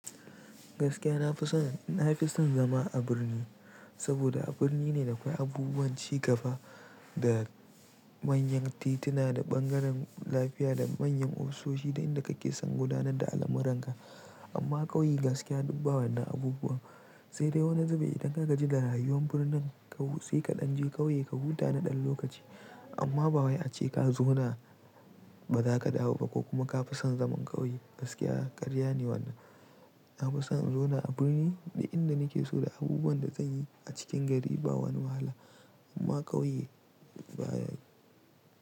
Gaskiya na fi son, na fi son zama a birni saboda a birni ne da akwai abubuwan cigaba da manyan tituna da bangaren lafiya da manyan ofisoshi da inda kake son gudanar da al'amuranka. Amma ƙauye gaskiya dubba wannan abubuwan, sai dai wani zube idan ka gaji da rayuwar birnin sai kaɗan je ƙauye ka huta na ɗan lokaci. Amma ba waye ace ka zauna ba za ka dawo ba ko kuma ka fi son zaman ƙauye. Gaskiya karya ne wannan. Na fi son in zauna a birni da inda nake so da abubuwan da kanyi a cikin gari ba wani wahala. Amma ƙauye baya.